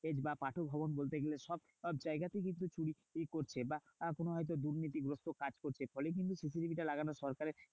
বা পাঠকভবন বলতে গেলে সব জায়গায় কিন্তু চুরি করছে। বা কোনো হয়তো দুর্নীতিগ্রস্থ কাজ করছে। ফলে কিন্তু CCTV টা লাগানো সরকারের